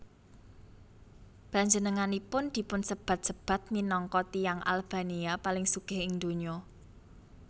Panjenenganipun dipunsebat sebat minangka tiyang Albania paling sugih ing donya